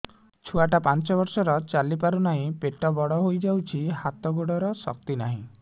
ଛୁଆଟା ପାଞ୍ଚ ବର୍ଷର ଚାଲି ପାରୁନାହଁ ପେଟ ବଡ ହୋଇ ଯାଉଛି ହାତ ଗୋଡ଼ର ଶକ୍ତି ନାହିଁ